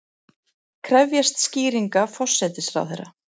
Krefjast skýringa forsætisráðherra